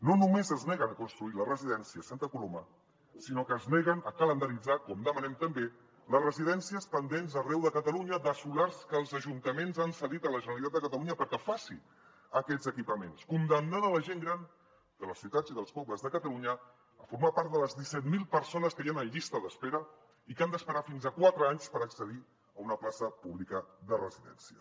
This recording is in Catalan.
no només es neguen a construir la residència a santa coloma sinó que es neguen a calendaritzar com demanem també les residències pendents arreu de catalunya de solars que els ajuntaments han cedit a la generalitat de catalunya perquè faci aquests equipaments condemnant la gent gran de les ciutats i dels pobles de catalunya a formar part de les disset mil persones que hi han en llista d’espera i que han d’esperar fins a quatre anys per accedir a una plaça pública de residència